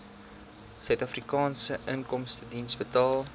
suidafrikaanse inkomstediens betaal